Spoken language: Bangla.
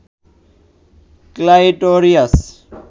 ক্লাইটোরিয়াস